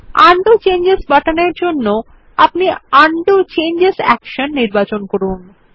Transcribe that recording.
undo changes বোতাম এর জন্য আপনি উন্ডো চেঞ্জেস অ্যাকশন নির্বাচন করুন